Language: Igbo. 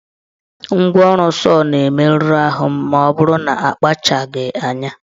Ngwaọrụ sọọ na-emerụ ahụ maọbụrụ na akpachaghị anya.